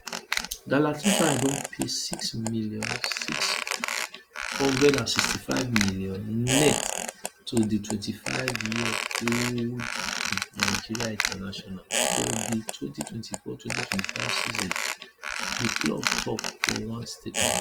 galatasaray don pay Six million Six hundred and sixty five million net to di Twenty five yearold nigerian international for di twenty twenty four twenty twenty five season di club tok for one statement